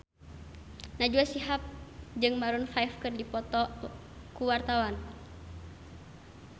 Najwa Shihab jeung Maroon 5 keur dipoto ku wartawan